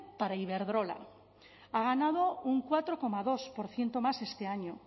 para iberdrola ha ganado un cuatro coma dos por ciento más este año